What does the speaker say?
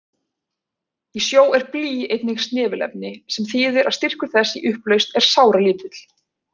Í sjó er blý einnig snefilefni, sem þýðir að styrkur þess í upplausn er sáralítill.